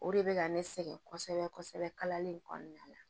O de bɛ ka ne sɛgɛn kosɛbɛ kosɛbɛ kalalen kɔnɔna la